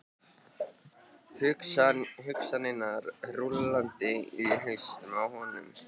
Hugsanirnar rúllandi í hausnum á honum.